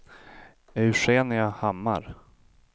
Eugenia Hammar